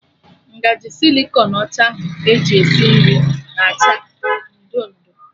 Ngaji sịlịkọn ọcha ahụ eji esi nri na acha ị ndo ndo